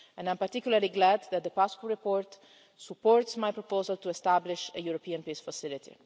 I am particularly glad that the Paşcu report supports my proposal to establish a European Peace Facility.